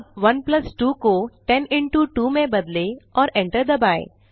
अब 1 प्लस 2 को 10 इंटो 2 में बदलें और एंटर दबाएँ